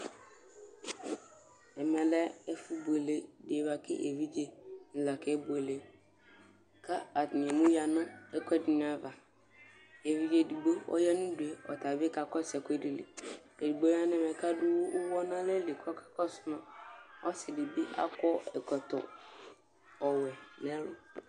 Ɛmɛ lɛ ɛfʋbuele dɩ bʋa kʋ evedzenɩ la kebuele kʋ atanɩ emuyǝ nʋ ɛkʋɛdɩnɩ ava Evidze edigbo ɔya nʋ udu yɛ, ɔta bɩ kakɔsʋ ɛkʋɛdɩ li Edigbo ya nʋ ɛmɛ kʋ adʋ ʋɣɔ nʋ alɛ li kʋ ɔkakɔsʋ ma Ɔsɩ dɩ akɔ ɛkɔtɔ ɔwɛ nʋ ɛlʋ